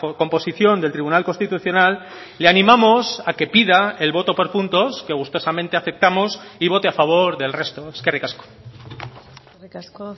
composición del tribunal constitucional le animamos a que pida el voto por puntos que gustosamente aceptamos y vote a favor del resto eskerrik asko eskerrik asko